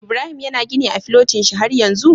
Ibrahim yana gini a filotin shi har yanzu?